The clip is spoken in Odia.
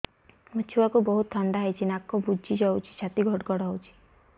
ମୋ ଛୁଆକୁ ବହୁତ ଥଣ୍ଡା ହେଇଚି ନାକ ବୁଜି ଯାଉଛି ଛାତି ଘଡ ଘଡ ହଉଚି